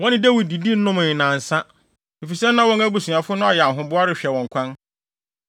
Wɔne Dawid didi nomee nnansa, efisɛ na wɔn abusuafo no ayɛ ahoboa rehwɛ wɔn kwan.